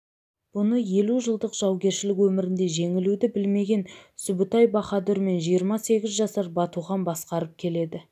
бұны елу жылдық жаугершілік өмірінде жеңілуді білмеген сүбітай баһадур мен жиырма сегіз жасар батухан басқарып келеді